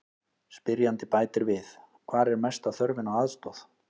Spyrjandi bætir við: Hvar er mesta þörfin á aðstoð?